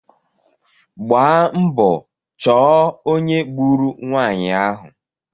Gbaa mbọ chọọ ónyé gburu nwanyị ahụ